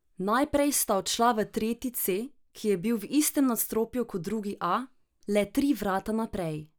Najprej sta odšla v tretji c, ki je bil v istem nadstropju kot drugi a, le tri vrata naprej.